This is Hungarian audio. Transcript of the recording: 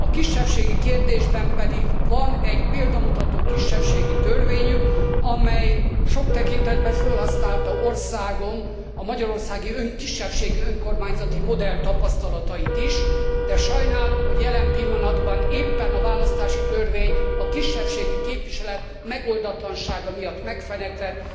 A kisebbségi kérdésben pedig van egy példamutató kisebbségi törvényük, amely sok tekintetben fölhasználta országom, a magyarországi kisebbségi önkormányzati modell tapasztalatait is, de sajnálom, hogy jelen pillanatban, éppen a választási törvény a kisebbségi képviselet megoldatlansága miatt megfeneklett.